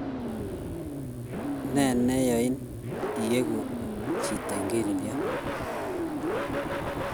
Ne neyani iweku chito ingelelyot?